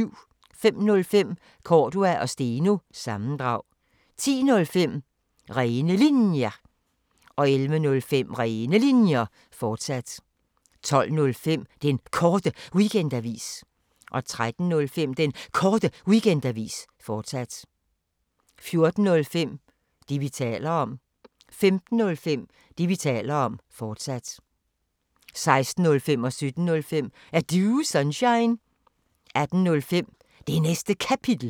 05:05: Cordua & Steno – sammendrag 10:05: Rene Linjer 11:05: Rene Linjer, fortsat 12:05: Den Korte Weekendavis 13:05: Den Korte Weekendavis, fortsat 14:05: Det, vi taler om 15:05: Det, vi taler om, fortsat 16:05: Er Du Sunshine? 17:05: Er Du Sunshine? 18:05: Det Næste Kapitel